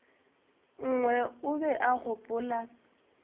nngwe o be a gopola